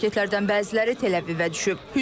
Raketlərdən bəziləri Təl-Əvivə düşüb.